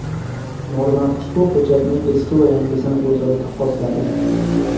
Norma ushbu hujjatning eski va yangisini o‘zaro taqqosladi .